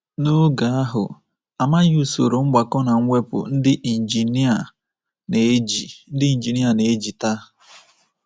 N’oge ahụ, a maghị usoro mgbakọ na mwepụ ndị injinia na-eji ndị injinia na-eji taa.